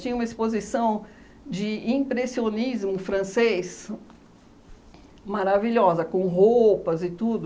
Tinha uma exposição de impressionismo francês maravilhosa, com roupas e tudo.